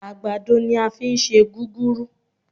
Àgbàdo ní á fí ń ṣe gúgúrú